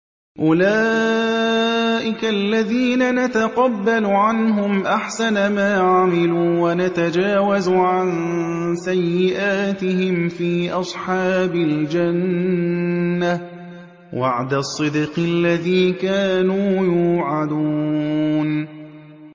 أُولَٰئِكَ الَّذِينَ نَتَقَبَّلُ عَنْهُمْ أَحْسَنَ مَا عَمِلُوا وَنَتَجَاوَزُ عَن سَيِّئَاتِهِمْ فِي أَصْحَابِ الْجَنَّةِ ۖ وَعْدَ الصِّدْقِ الَّذِي كَانُوا يُوعَدُونَ